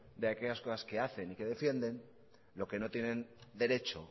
de aquellas cosas que hacen y defienden lo que no tienen derecho